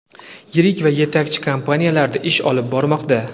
yirik va yetakchi kompaniyalarda ish olib bormoqda.